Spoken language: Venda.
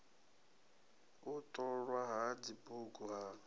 u ṱolwa ha dzibugu ha